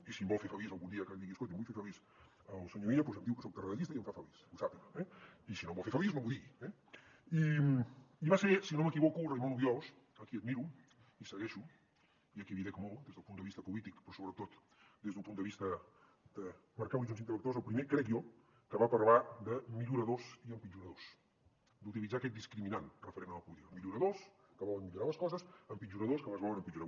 i si em vol fer feliç algun dia que digui escolti vull fer feliç el senyor illa doncs em diu que soc tarradellista i em fa feliç que ho sàpiga eh i si no em vol fer feliç no m’ho digui eh i va ser si no m’equivoco raimon obiols a qui admiro i segueixo i a qui li dec molt des del punt de vista polític però sobretot des d’un punt de vista de marcar horitzons intel·lectuals el primer crec jo que va parlar de milloradors i empitjoradors d’utilitzar aquest discriminant referent a la política milloradors que volen millorar les coses empitjoradors que les volen empitjorar